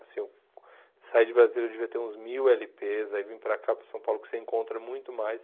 Assim, eu saí de Brasília, eu devia ter uns mil ele pês, aí vim para cá, para São Paulo, que você encontra muito mais.